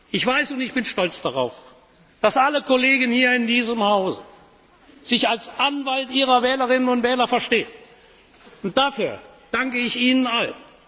Ich weiß und ich bin stolz darauf, dass alle Kollegen hier in diesem Hause sich als Anwalt ihrer Wählerinnen und Wähler verstehen. Dafür danke ich Ihnen allen.